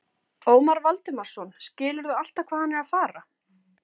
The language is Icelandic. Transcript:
Ómar Valdimarsson: Skilurðu alltaf hvað hann er að fara?